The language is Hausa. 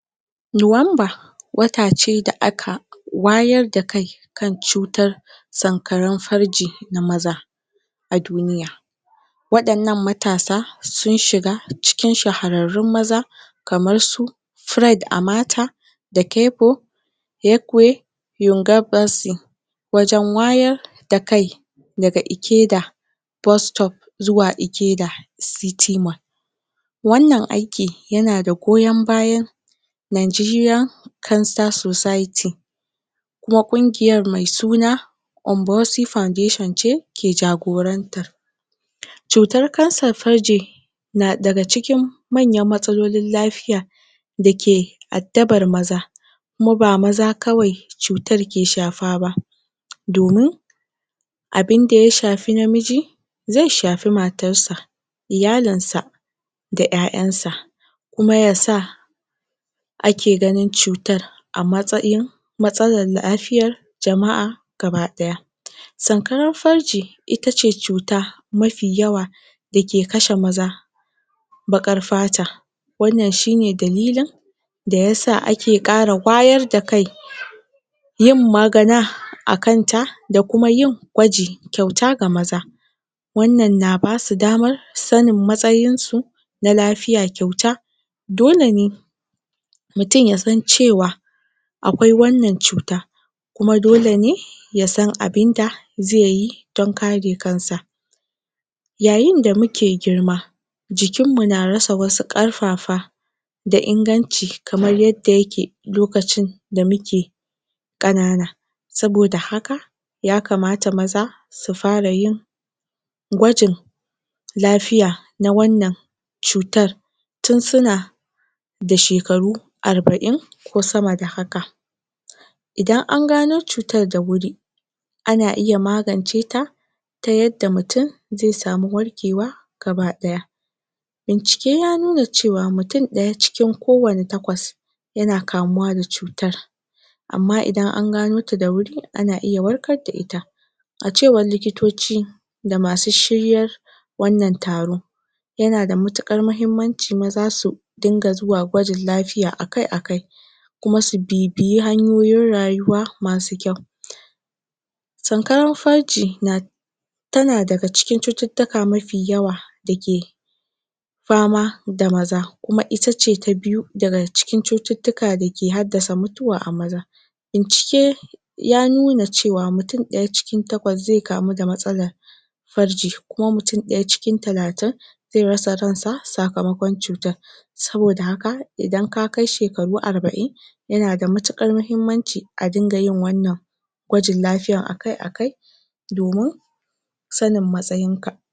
nuwanba wata ce da aka wayar da kai kai tsutar san karan farji na maza a duniya wadan nan matasa sun shiga cikin shahararrun maza kamar su fred a mata da kepo ekwe yonger basy wajen wayar da kai da ga ikeda bus stop zuwa ikeda city mall wan nan aiki yana da goyon bayan Nigeriqa cancer society kuma kungiyar mai suna unboucy foundation ce ke jagoranta tsutan kansan farji na daga cikin manyan matsalolin lafia dake addaban maza kuma ba maza kawai tsutan ke shaba ba domin domin abin da ya shafi na miji zai shafi matansa iyalinsa da yayan sa kuma yasa ake ganin tsutan a matsayin matsalan lafiyan jamaa baki daya sankarar farji itace tsuta mafi yawa da ke kashe maza bakar fata wan nan shine dalilin da yasa ake kara wayar da kai yin magana akan ta, da kuma yin kwanji kyauta ga maza wan nan na basu damar sanin matsayin su na lafia kyauta dole ne mutun ya san cewa akwai wan nan cuta kuma dole ne yasan abin da zaiyi dan kare kansa yayin da muke girma jikin mu na rasa wasu karfafa da inganci, kaman yadda yake, lokacin da muke kanana sabo da haka ya kamata maza su fara yin kwajin lafiya na wannan tsutan tun suna da shekaru arbain ko sama da haka idan an gano tsutan da huri ana iya maganceta ta yadda mutun zai samu warkewa gaba daya bincike ya nuna cewa mutun daya, cikin ko wanne takwas yana kamuwa da tsutan amma idan an ganota da huri ana iya warkar da ita a cewar likitoci da masu shiryar wan nan taro yana da matukar mahimmanci maza su rinka zuwa kwajin lafiya akai akai kuma su bibiya hanyoyin rayuwa masu kyau san karan farji na tana daga cikin tsututtuka mafi yawa dake fama da maza kuma itace na biyu da da ga cikin cutittika da ke haddasa mutuwa a maza bincike ya nuna cewan mutun daya cikin takwas zai kamu da matsalan farji, kuma mutun daya cikin talatin zai rasa ran sa sakamakon cutan sabo da haka idan kakai shekaru arbain yana da matukar mahimmanci a rinka yin wannan kwajin lafiyan akai akai domin sanin matsayin ka